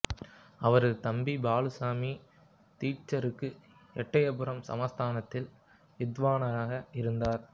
அவரது தம்பி பாலுசாமி தீட்சிதருக்கு எட்டயபுரம் சமஸ்தானத்தில் வித்வானாக இருந்தார்